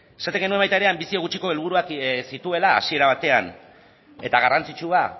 esaten genuen baita ere anbizio gutxiko helburuak zituela hasiera batean eta garrantzitsua